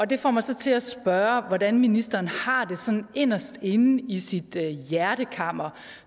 det får mig så til at spørge hvordan ministeren har det sådan inderst inde i sit hjertekammer